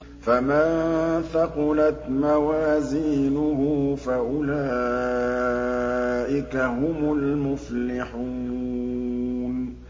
فَمَن ثَقُلَتْ مَوَازِينُهُ فَأُولَٰئِكَ هُمُ الْمُفْلِحُونَ